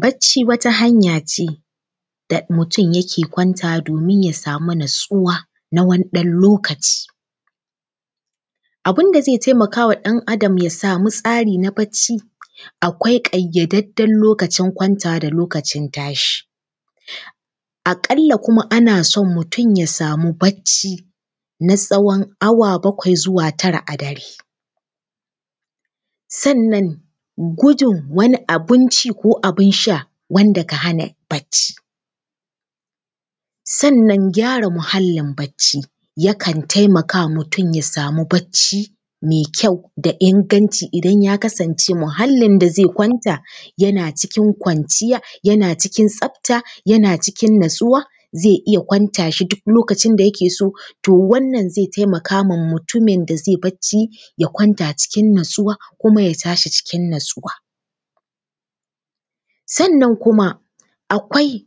Barci wata hanya ce da mutum yake kwantawa domin ya samu natsuwa na wani ɗan lokaci. Abin da zai taimaka wa ɗan Adam ya samu tsari na barci, akwai ƙayyadajjen lokacin kwantawa da lokacin tashi. A ƙalla kuma ana son mutum ya samu barci na tsawon awa bakwai zuwa tara a dare. Sannan gudun wani abin ci ko wani abin sha wanda ke hana barci. Sanna gyara muhallin barci yakan taimaka wa mutum ya samu barci mai kyau da inganci idan ya kasance muhallin da zai kwanta, yana cikin kwanciya, yana cikin tsafta, yana cikin natsuwa, zai iya kwanta shi duk lokacin da yake so, to wannan zai taimaka ma mutumin da zai barci, ya kwanta cikin natsuwa kuma ya tashi cikin natsuwa. Sannan kuma, akwai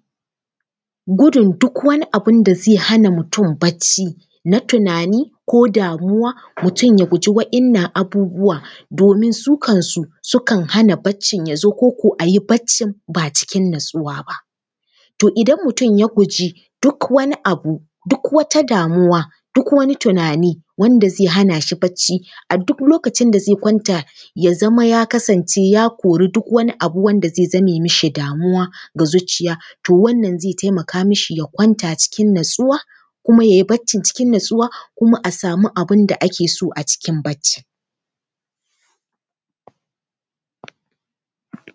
gudun duk wani abin da zai hana mutum barci na tunani ko damuwa, mutum ya guji waɗannan abubuwa, domin su kansu, sukan hana barcin ya zo, ko ko a yi barcin ba cikin natsuwa ba. To idan mutum ya guji duk wani abu, duk wata damuwa, duk wani tunani, wanda zai hana shi barci a duk lokacin da zai kwanta ya zama ya kasance ya kori duk wani abu wanda zai zame mishi damuwa ga zuciya, to wannan zai taimaka mishi ya kwanta cikin natsuwa kuma ya yi barcin cikin natsuwa kuma a samu abin da ake so a cikin barci.